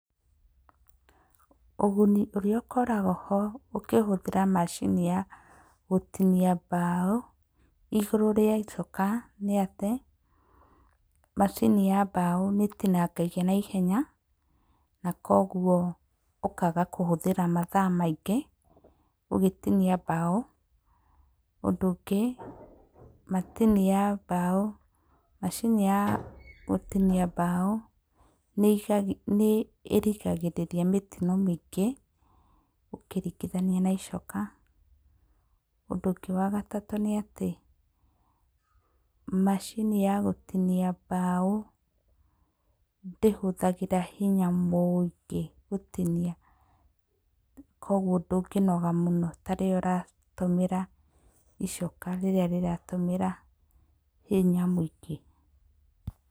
Ũguni ũrĩa ũkoragwo ho ũkĩhũthĩra macini ya gũtinia mbaũ igũrũ rĩa icoka nĩ atĩ, macini ya mbaũ nĩ ĩtinangagia na ihenya na koguo ũkaga kũhũthĩra mathaa maingĩ ũgĩtinia mbaũ. Ũndũ ũngĩ, macini ya mbaũ, macini ya gũtinia mbaũ nĩ ĩrigagĩrĩria mĩtino mĩingĩ ũkĩringithania na icoka. Ũndũ ũngĩ wa gatatũ nĩ atĩ, macini ya gũtinia mbaũ ndĩhũthagĩra hinya mũingĩ gũtinia, koguo ndũngĩnoga mũno ta rĩrĩa ũratũmĩra icoka rĩrĩa rĩratũmĩra hinya mũingĩ.